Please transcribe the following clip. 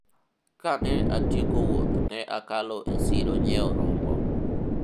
kane atieko wuoth ne akalo e siro nyiewo rombo